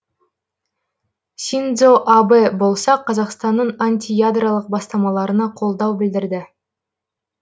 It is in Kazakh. синдзо абэ болса қазақстанның антиядролық бастамаларына қолдау білдірді